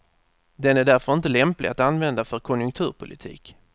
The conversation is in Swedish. Den är därför inte lämplig att använda för konjunkturpolitik.